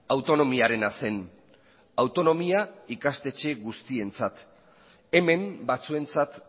autonomiarena zen autonomia ikastetxe guztientzat hemen batzuentzat